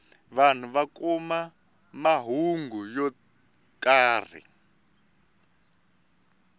vanhu va kuma mahungu yo karhi